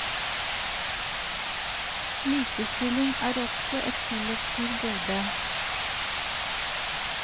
Likestilling er også et kollektivt gode.